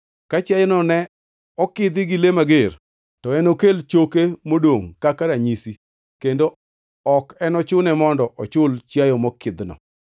Ka chiayono ne okidhi gi le mager, to enokel choke modongʼ kaka ranyisi kendo ok enochune mondo ochul chiayo mokidhino.